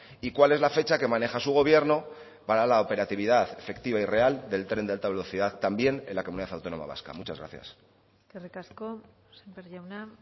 y cuál es la fecha que maneja su gobierno para la operatividad efectiva y real del tren de alta velocidad también en la comunidad autónoma vasca muchas gracias eskerrik asko sémper jauna